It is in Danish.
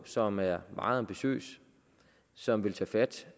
som er meget ambitiøs som vil tage fat